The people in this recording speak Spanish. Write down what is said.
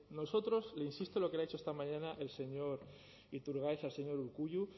nosotros le insisto en lo que le ha dicho esta mañana el señor iturgaiz al señor urkullu